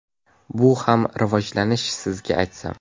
Bu ham rivojlanish sizga aytsam.